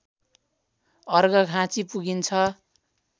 अर्घाखाँचि पुगिन्छ